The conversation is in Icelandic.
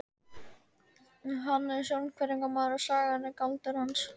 Hann er sjónhverfingamaður og sagan er galdur hans.